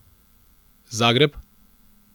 Zagreb?